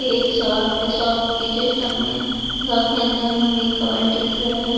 एक शॉप है शॉप के जस्ट शॉप के अंदर में हमें कवर दिख रहे हैं।